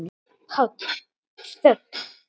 PÁLL: Þögn!